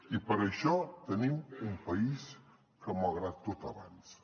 i per això tenim un país que malgrat tot avança